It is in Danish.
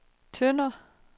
Tønder